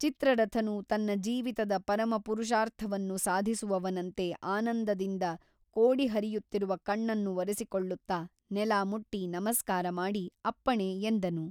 ಚಿತ್ರರಥನು ತನ್ನ ಜೀವಿತದ ಪರಮಪುರುಷಾರ್ಥವನ್ನು ಸಾಧಿಸುವವನಂತೆ ಆನಂದದಿಂದ ಕೋಡಿಹರಿಯುತ್ತಿರುವ ಕಣ್ಣನ್ನು ಒರೆಸಿಕೊಳ್ಳುತ್ತ ನೆಲ ಮುಟ್ಟಿ ನಮಸ್ಕಾರ ಮಾಡಿ ಅಪ್ಪಣೆ ಎಂದನು.